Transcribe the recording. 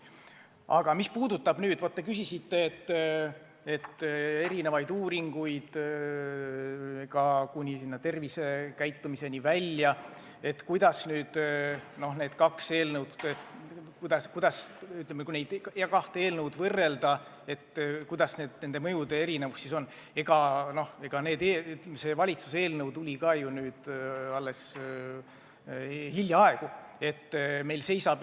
Aga mis puudutab teie küsitud muid uuringuid, mis võiksid käsitleda ka seda, kuidas need kaks eelnõu võiksid mõjutada tervisekäitumist, siis valitsuse eelnõu tuli ju alles hiljaaegu välja.